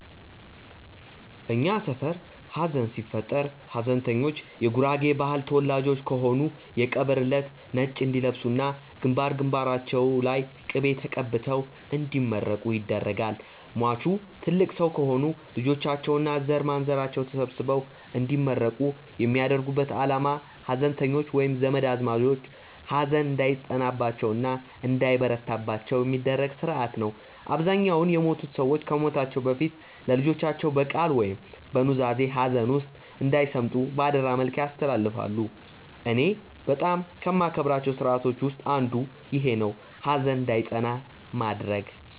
እኛ ሰፈር ሀዘን ሲፈጠር ሀዘንተኞቹ የጉራጌ ባህል ተወላጆች ከሆኑ የቀብር እለት ነጭ እንዲለብሱ እና ግንባር ግንባራቸው ላይ ቅቤ ተቀብተው እንዲመረቁ ይደረጋል። ሟቹ ትልቅ ሰው ከሆኑ ልጆቻቸው እና ዘርማንዘራቸው ተሰብስበው እንዲመረቁ የሚያደርጉበት አላማ ሀዘንተኞቹ ወይም ዘመድ አዝማዶቹ ሀዘን እንዳይጸናባቸው እና እንዳይበረታባቸው የሚደረግበት ስርአት ነው። አብዛኛውን የሞቱት ሰዎች ከመሞታቸው በፊት ለልጆቻቸው በቃል ወይም በኑዛዜ ሀዘን ውስጥ እንዳይሰምጡ በአደራ መልክ ያስተላልፋሉ። እኔ በጣም ከማከብራቸው ስርአቶች ውስጥ አንዱ ይኼ ነው፣ ሀዘን እንዳይጸና ማድረግ።